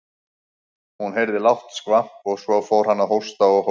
Hún heyrði lágt skvamp og svo fór hann að hósta og hósta.